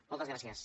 moltes gràcies